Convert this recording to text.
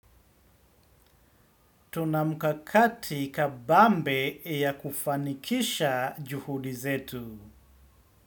Tuna mkakati kabambe wa kufanikisha juhudi zetu.